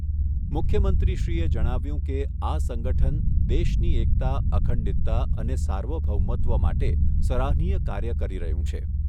મુખ્યમંત્રીશ્રી એ જણાવ્યુંં કે, આ સંગઠન દેશની એકતા, અખંડિતતા અને સાર્વભૌમત્વ માટે સરાહનીય કાર્ય કરી રહ્યું છે.